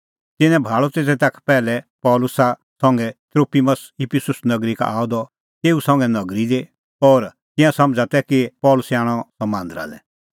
तिन्नैं भाल़अ त तेता का पैहलै पल़सी संघै त्रोफिमस इफिसुस नगरी का आअ द तेऊ संघै नगरी दी और तिंयां समझ़ा तै कि पल़सी आणअ सह मांदरा लै